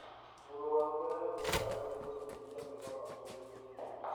Mũrwaru nĩahetwo ndawa cia kũnyihia mĩnoga mwĩrĩ-inĩ